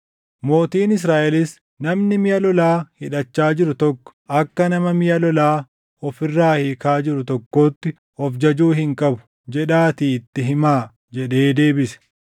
Mootiin Israaʼelis, “ ‘Namni miʼa lolaa hidhachaa jiru tokko akka nama miʼa lolaa of irraa hiikaa jiru tokkootti of jajuu hin qabu’ jedhaatii itti hima” jedhee deebise.